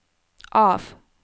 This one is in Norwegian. av